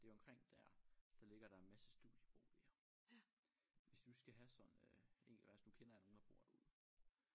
Det omkring der der ligger der en masse studieboliger. Hvis du skal have sådan og altså nu kender jeg nogen der bor derude